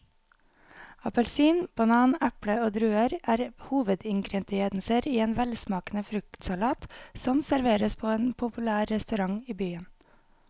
Appelsin, banan, eple og druer er hovedingredienser i en velsmakende fruktsalat som serveres på en populær restaurant i byen.